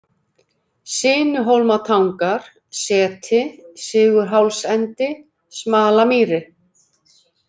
Sinuhólmatangar, Seti, Sigurhálsendi, Smalamýri